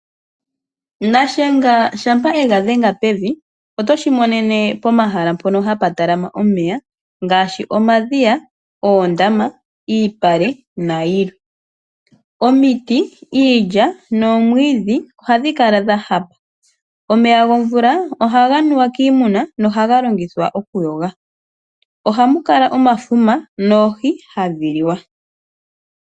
Nashenga shaNangombe ngele yega dhenga pevi oto shimonene pomahala mpono hapu talamene omeya ngaashi omadhiya, oondama, iipale nayilwe. Omiti iilya noomwiidhi ohadhi kala dhahapa. Omeya gomvula ohaga nuwa kiimuna nohaga longithwa okunuwa. Ohamu kala oohi hadhi liwa.